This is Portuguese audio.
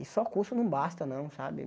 E só curso não basta não, sabe?